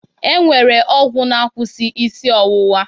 E nwere ọgwụ na-akwụsị isi ọwụwa